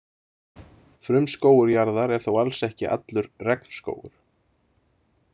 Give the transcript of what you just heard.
Frumskógur jarðar er þó alls ekki allur regnskógur.